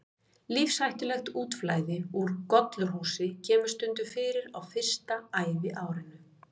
Lífshættulegt útflæði úr gollurshúsi kemur stundum fyrir á fyrsta æviárinu.